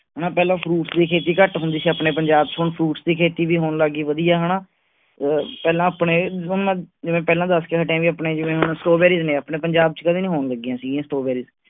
ਆਹ ਪਹਿਲਾਂ fruits ਦੀ ਖੇਤੀ ਘਟ ਹੁੰਦੀ ਸੀ ਆਪਣੇ ਪੰਜਾਬ ਚ ਹੁਣ fruits ਦੀ ਖੇਤੀ ਵੀ ਹੋਣ ਲੱਗ ਗਈ ਵਧੀਆ ਹਣਾ ਪਹਿਲਾ ਆਪਣੇ ਆਹ ਜਿਵੇਂ ਪਹਿਲਾਂ ਦਸ ਕੇ ਹਟੇ ਜਿਵੇਂ ਆਪਣੇ ਹੁਣ strawberries ਨੇ ਆਪਣੇ ਪੰਜਾਬ ਚ ਕਦੀ ਨੀ ਹੋਣ ਲੱਗੀਆਂ ਸੀ ਗਿਆ strawberries